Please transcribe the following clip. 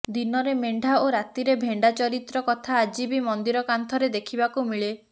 ଦିନରେ ମେଣ୍ଢା ଓ ରାତିରେ ଭେଣ୍ଡା ଚରିତ୍ର କଥା ଆଜି ବି ମନ୍ଦିର କାନ୍ଥରେ ଦେଖିବାକୁ ମିଳେ